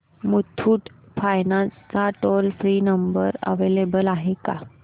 Muthoot finance चा toll free number available आहे का